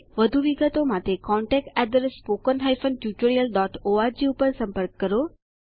વધુ વિગતો માટે અમને contactspoken tutorialorg ઉપર સંપર્ક કરો